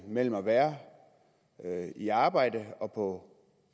mellem at være i arbejde og på